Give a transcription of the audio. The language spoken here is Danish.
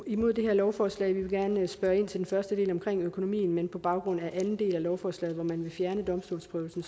imod det her lovforslag vi vil gerne spørge ind til den første del altså omkring økonomien men på baggrund af anden del af lovforslaget hvor man vil fjerne domstolsprøvelsen